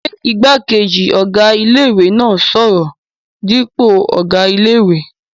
Ṣé igbákejì ọ̀gá ilé-ìwé náà n sọ̀rọ̀ dípò ọ̀gá ilé-ìwé?